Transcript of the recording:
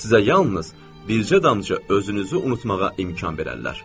Sizə yalnız bircə dancaq özünüzü unutmağa imkan verərlər.